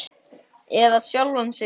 Eða sjálfan þig.